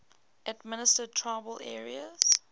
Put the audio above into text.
administered tribal areas